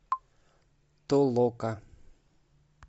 толока